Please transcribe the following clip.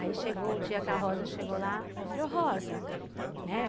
Aí chegou o dia que a Rosa chegou lá, aí eu falei, ô Rosa, né?